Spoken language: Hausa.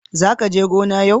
zaka je gona yau.